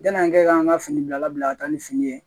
Yan'an kɛ k'an ka fini bilala bila ka taa ni fini ye